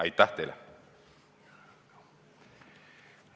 Aitäh teile!